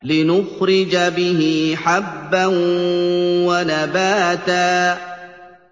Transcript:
لِّنُخْرِجَ بِهِ حَبًّا وَنَبَاتًا